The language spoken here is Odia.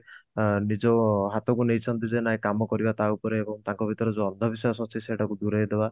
ଅ ନିଜ ହାତକୁ ନେଇଛନ୍ତି ଯେ ନାଇଁ କାମ କରିବା ତା ଉପରେ ତାଙ୍କ ଭିତରେ ଯୋଉ ଅନ୍ଧ ବିଶ୍ବାସ ଅଛି ସେଟା କୁ ଦୂରେଇ ଦେବା